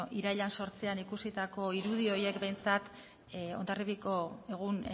irailaren zortzian ikusitako irudi horiek behintzat hondarribiako egun